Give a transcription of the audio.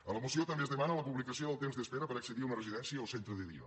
a la moció també es demana la publicació del temps d’espera per accedir a una residència o centre de dia